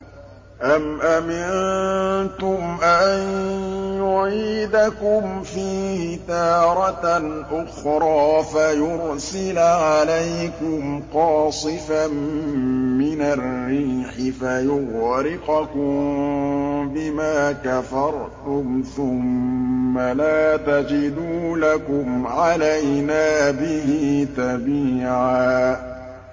أَمْ أَمِنتُمْ أَن يُعِيدَكُمْ فِيهِ تَارَةً أُخْرَىٰ فَيُرْسِلَ عَلَيْكُمْ قَاصِفًا مِّنَ الرِّيحِ فَيُغْرِقَكُم بِمَا كَفَرْتُمْ ۙ ثُمَّ لَا تَجِدُوا لَكُمْ عَلَيْنَا بِهِ تَبِيعًا